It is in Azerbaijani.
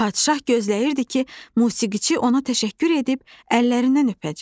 Padşah gözləyirdi ki, musiqiçi ona təşəkkür edib əllərindən öpəcək.